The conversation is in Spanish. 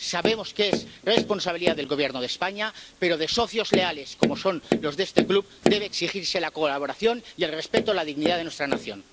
Sabemos que es responsabilidad del Gobierno de España, pero de socios leales, como son los de este club, debe exigirse la colaboración y el respeto a la dignidad de nuestra nación.